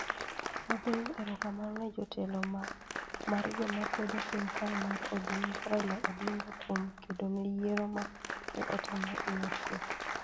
Agoyo erokamano ne jatelo mar joma kwedo sirkal Raila Odinga kuom kedo ne yiero ma ne otim e yor kuwe.